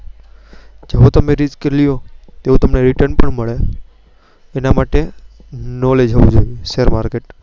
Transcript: જો તમે Risk લો તેઓ તમને રિટર્ન મળે. તેના માટે share market નોલેજ હોવું જોઈએ.